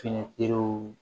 Fiɲɛterew